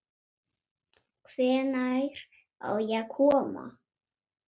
Hvenær á ég að koma?